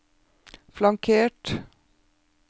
flankert